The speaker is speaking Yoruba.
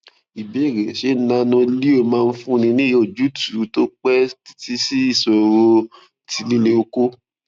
ìbéèrè ṣé nanoleo máa fúnni ní ojútùú tó pẹ títí sí ìṣòro ti lile oko